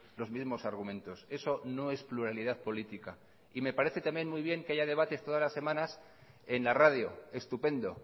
los mismos argumentos eso no es pluralidad política y me parece también muy bien que haya debates todas las semanas en la radio estupendo